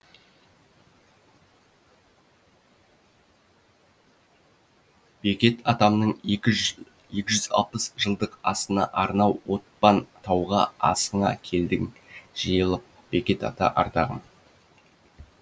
бекет атамның екі екі жүз алпыс жылдық асына арнау отпан тауға асыңа келдік жиылып бекет ата ардағым